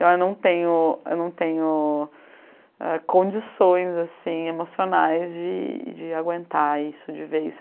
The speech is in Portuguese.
Eu já não tenho, eu não tenho ah condições assim emocionais de de aguentar isso, de ver isso.